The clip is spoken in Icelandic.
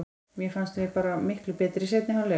Mér fannst við bara miklu betri í seinni hálfleik.